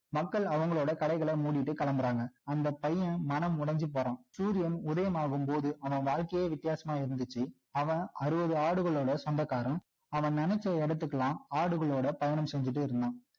மக்கள் அவங்களோட கடைகளை மூடிட்டு கிளம்புறாங்க அந்த பையன் மனம் உடைஞ்சு போறான் சூரியன் உதயம் ஆகும் போது அவன் வாழ்கையே விதியாசமா இருந்துச்சு அவன் அறுபது ஆடுகளோட சொந்தக்காரன் அவன் நினைச்ச இடத்துக்குலாம் ஆடுகளோட பயணம் செஞ்சிட்டே இருந்தான்